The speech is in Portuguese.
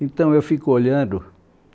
Então eu fico olhando